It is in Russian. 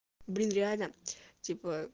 блин реально типо